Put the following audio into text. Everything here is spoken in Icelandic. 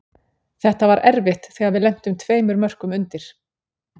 Þetta var erfitt þegar við lentum tveimur mörkum undir.